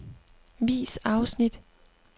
Vis afsnit.